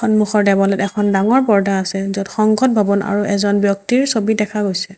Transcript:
সন্মুখৰ দেৱালত এখন ডাঙৰ পৰ্দা আছে য'ত সংসদ ভৱন আৰু এজন ব্যক্তিৰ ছবি দেখা গৈছে।